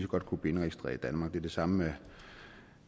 godt kunne blive indregistreret i danmark det er det samme